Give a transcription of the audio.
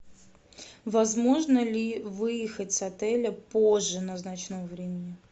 возможно ли выехать с отеля позже назначенного времени